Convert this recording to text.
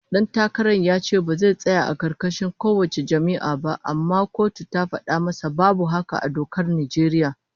Dan takaran ya ce ba zai tsaya a karkashin kowace jam'iyya ba, amma kotu ta fada masa babu haka a dokar Najeriya